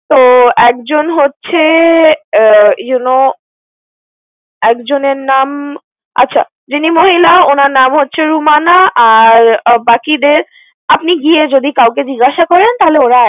তো একজন হচ্ছে আহ you know একজনের নাম আচ্ছা যিনি মহিলা উনার নাম হচ্ছে রুমানা। আর আহ বাকিদের আপনি গিয়ে যদি কাউকে জিজ্ঞাসা করেন তাহলে ওরা